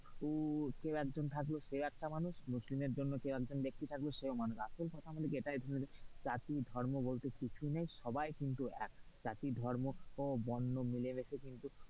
হিন্দু কেও একজন থাকলো সেও একটা মানুষ মুসলিমের জন্য কেও একজন ব্যাক্তি থাকলো সেও মানুষ আসল কথা হলো কি এটাই জাতি ধর্ম বলতে কিছুই নেই সবাই কিন্তু এক, জাতিধর্ম বর্ণ মিলেমিশে কিন্তু,